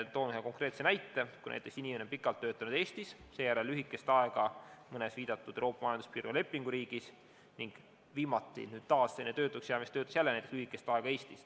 Toon ühe konkreetse näite: inimene on pikalt töötanud Eestis, seejärel lühikest aega mõnes viidatud Euroopa Majanduspiirkonna lepinguriigis ning viimati, enne töötuks jäämist jälle lühikest aega Eestis.